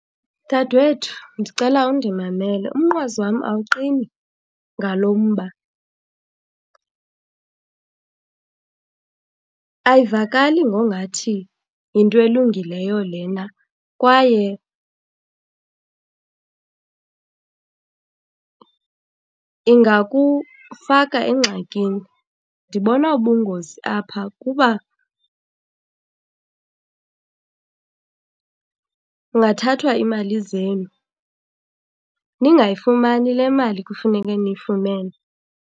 Dadewethu ndicela undimamele, umnqwazi wam awuqini ngalo mba. Ayivakali ngongathi yinto elungileyo lena kwaye ingakufaka engxakini. Ndibona ubungozi apha kuba kungathathwa iimali zenu, ningayifumani le mali kufuneke niyifumene.